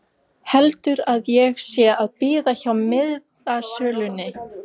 Heldur að ég sé að bíða hjá miðasölunni!